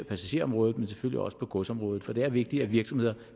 passagerområdet men selvfølgelig også på godsområdet for det er vigtigt at virksomheder